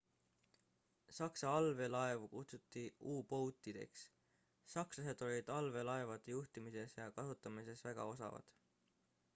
saksa allveelaevu kutsuti u-boat'ideks sakslased olid allveelaevade juhtimises ja kasutamises väga osavad